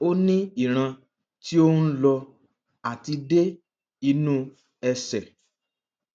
ó ní ìran tí ó ń lọ àti dé inú ẹsè